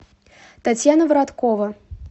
татьяна вараткова